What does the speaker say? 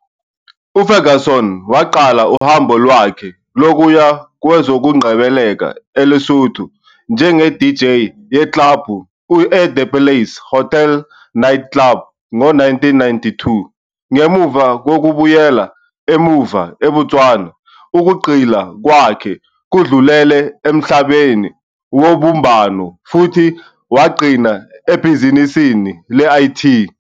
UFerguson waqala uhambo lwakhe lokuya kwezokungcebeleka eLesotho njengeDJ yeklabhu eThe Palace Hotel Night Club ngo-1992. Ngemuva kokubuyela emuva eBotswana ukugxila kwakhe kudlulele emhlabeni wobumbano futhi wagcina ebhizinisini le-IT.